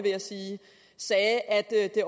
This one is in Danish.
sagde at det